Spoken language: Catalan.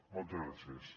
moltes gràcies